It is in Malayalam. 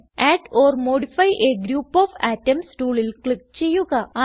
add or modify a group of atoms ടൂളിൽ ക്ലിക്ക് ചെയ്യുക